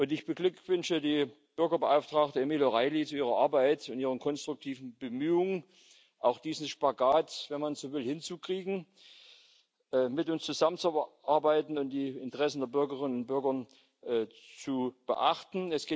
Ich beglückwünsche die Bürgerbeauftragte, Emily O'Reilly, zu ihrer Arbeit und ihren konstruktiven Bemühungen, auch diesen Spagat, wenn man so will, hinzukriegen, mit uns zusammenzuarbeiten und die Interessen der Bürgerinnen und Bürger zu beachten.